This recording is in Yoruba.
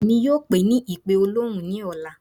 Èmí yóò pe é ní ipe òlọhun ni ọla